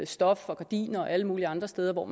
stof og gardiner og alle mulige andre steder